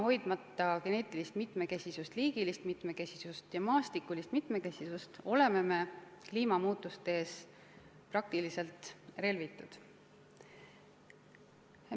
Hoidmata geneetilist mitmekesisust, liigilist mitmekesisust ja maastikulist mitmekesisust oleme kliimamuutuste ees praktiliselt relvitud.